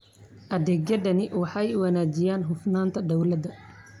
Adeegyadani waxay wanaajiyaan hufnaanta dawladda.